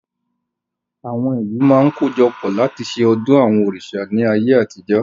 Àwọn ìlú máa ń kojọpọ̀ láti ṣe ọdún àwọn òrìṣà ni ayé àtijọ́